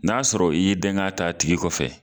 N'a sɔrɔ i'y'i dɛn kɛ ta a tigi kɔfɛ